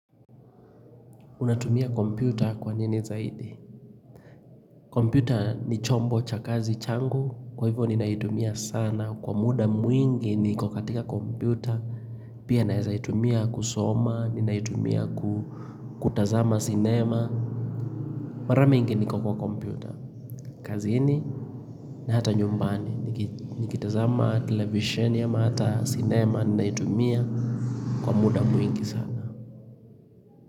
Unatumia kompyuta kwa nini zaidi? Kompyuta ni chombo cha kazi changu, kwa hivyo ninaitumia sana. Kwa muda mwingi niko katika kompyuta, pia naweza itumia kusoma, ninaitumia kutazama sinema. Mara miingi niko kwa kompyuta. Kazini na hata nyumbani, nikitazama televisheni, ama hata sinema ninaitumia kwa muda mwingi sana.